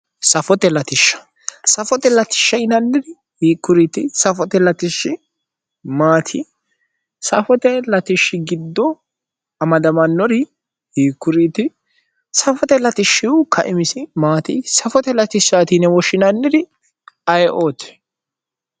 Safote latishsha, safote latishsha yinanniri hiikkuriiti? Safote latishshi maati? Safote latishshi giddo amadamannori hiikkuriiti? Safote latishsha kaimisi maati? Safote latishsha yine woshshinanniri ayeooti?